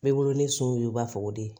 Bɛ wolo ni so y'u b'a fɔ ko de